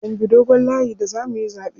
Mun bi dogon layi da zamuyi zaɓe.